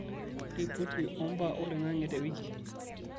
ripoti ombaa oloingange te wiki